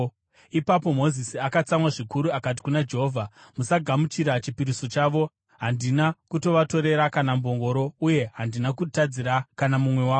Ipapo Mozisi akatsamwa zvikuru akati kuna Jehovha, “Musagamuchira chipiriso chavo. Handina kutovatorera kana mbongoro, uye handina kutadzira kana mumwe wavo.”